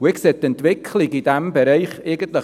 Ich sehe die Entwicklung in diesem Bereich